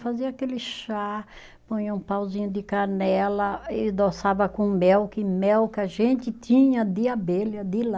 Fazia aquele chá, põe um pauzinho de canela e adoçava com mel, que mel que a gente tinha de abelha de lá.